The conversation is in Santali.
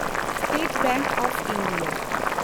state bank of India